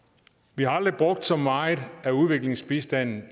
vi har aldrig brugt så meget af udviklingsbistanden